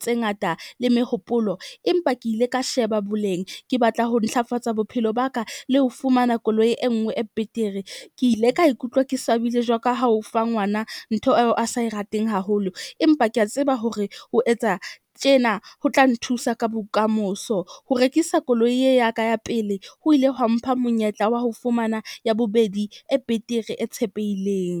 tse ngata le mehopolo. Empa ke ile ka sheba boleng, ke batla ho ntlafatsa bophelo ba ka le ho fumana koloi e nngwe e betere. Ke ile ka ikutlwa ke swabile jwalo ka ha o fa ngwana ntho eo a sa e rateng haholo. Empa ke a tseba hore o etsa tjena ho tla nthusa ka bokamoso. Ho rekisa koloi ye ya ka ya pele ho ile hwa mpha monyetla wa ho fumana ya bobedi e betere e tshepehileng.